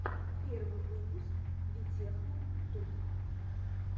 первый выпуск витехно ту